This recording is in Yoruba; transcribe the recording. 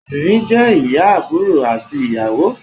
obìnrin jé ìyá, àbúrò ati ìyàwó